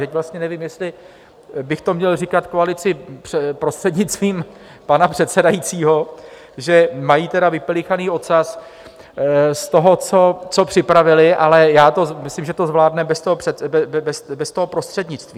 Teď vlastně nevím, jestli bych to měl říkat koalici prostřednictvím pana předsedajícího, že mají tady vypelichaný ocas z toho, co připravili, ale já myslím, že to zvládne bez toho prostřednictví.